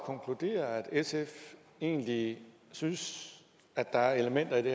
konkludere at sf egentlig synes at der er elementer i det